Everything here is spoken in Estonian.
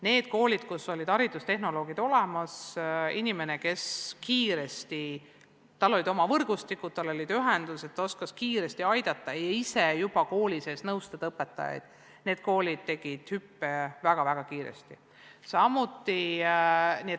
Need koolid, kus olid olemas haridustehnoloogid – inimene, kes kiiresti tegutses, tal olid oma võrgustikud, tal olid ühendused, ta oskas kiiresti aidata ja ise koolis õpetajaid nõustada –, tegid soovitud hüppe väga-väga kiiresti.